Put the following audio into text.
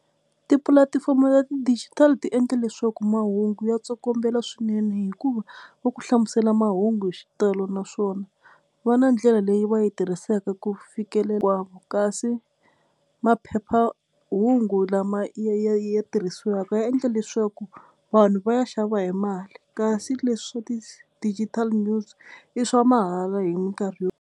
Tipulatifomo ta ti-digital ti endle leswaku mahungu ya tsokombela swinene hikuva va ku hlamusela mahungu hi xitalo naswona va na ndlela leyi va yi tirhisaka ku fikelela kasi maphephahungu lama ya tirhisiwaka ya endla leswaku vanhu va ya xava hi mali kasi leswa ti-digital news i swa mahala hi mikarhi .